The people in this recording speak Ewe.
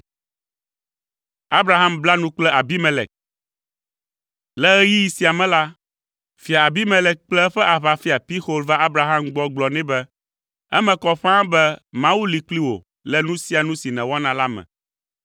Le ɣeyiɣi sia me la, Fia Abimelek kple eƒe aʋafia Pixol va Abraham gbɔ gblɔ nɛ be, “Eme kɔ ƒãa be Mawu li kpli wò le nu sia nu si nèwɔna la me.